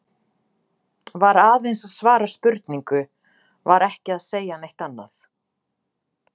Var aðeins að svara spurningu, var ekki að segja neitt annað.